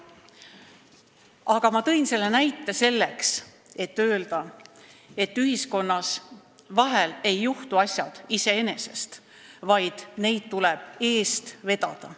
Aga ma tõin selle näite selleks, et öelda: ühiskonnas vahel ei juhtu asjad iseenesest, vaid neid tuleb eest vedada.